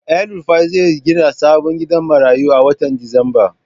Elrufai zai gina sabon gidan marayu a watan disamba.